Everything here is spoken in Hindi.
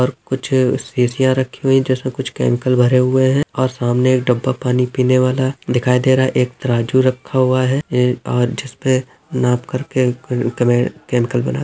और कुछ सीसिया रखी हुई जिसमें कुछ केमिकल भरे हुए है और सामने एक डब्बा पानी पीने वाला दिखाई दे रहा। एक तराजू रखा हुआ है। ए और जिस पे नाप करके क कमे केमिकल बनाते--